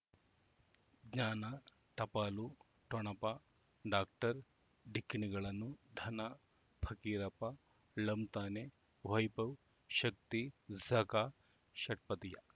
ಜ್ಞಾನ ಟಪಾಲು ಠೊಣಪ ಡಾಕ್ಟರ್ ಢಿಕ್ಕಿ ಣಗಳನು ಧನ ಪಕೀರಪ್ಪ ಳಂತಾನೆ ವೈಭವ್ ಶಕ್ತಿ ಝಗಾ ಷಟ್ಪದಿಯ